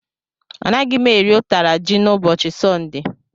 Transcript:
Anaghị m eri ụtara ji n'ụbọchị Sọnde.